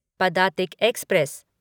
Padatik express